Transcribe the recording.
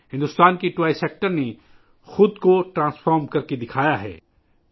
بھارت کے کھلونا سیکٹر نے خود کو بدل کر دکھایا ہے